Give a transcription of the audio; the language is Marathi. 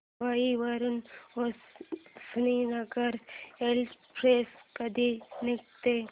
मुंबई वरून हुसेनसागर एक्सप्रेस कधी निघते